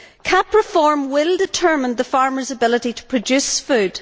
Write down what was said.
CAP reform will determine the farmers' ability to produce food.